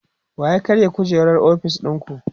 wa ya karya kujerar ofis ɗinku?